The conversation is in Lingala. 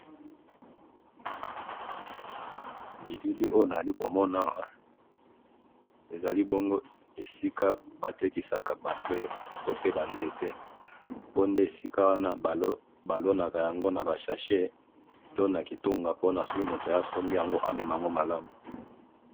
Bilili oyo nazali komona awa, ezali bongo esika batekisaka ba fleurs to pe ba nzete, po nde esika wana balonaka yango naba sachet, to nakitunga po nasoki mutu aye asombi yango, amema yango malamu.